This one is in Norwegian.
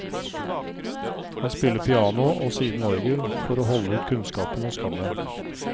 Han spiller piano, og siden orgel, for å holde ut kunnskapen og skammen.